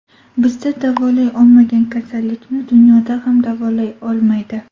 Bizda davolay olmagan kasallikni dunyoda ham davolay olmaydi.